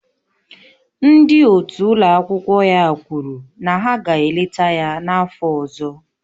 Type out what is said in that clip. Ndị otu ụlọ akwụkwọ ya kwuru na ha ga-eleta ya n'afọ ọzọ